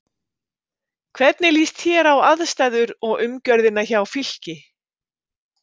Hvernig líst þér á aðstæður og umgjörðina hjá Fylki?